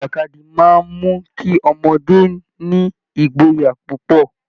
Ìjàkadì máa ń mú kí ọmọdé ní ìgboyà púpọ̀